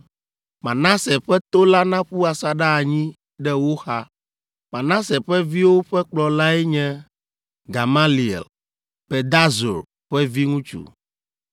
Manase ƒe to la naƒu asaɖa anyi ɖe wo xa. Manase ƒe viwo ƒe kplɔlae nye Gamaliel, Pedahzur ƒe viŋutsu,